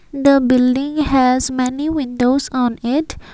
the building has many windows on it.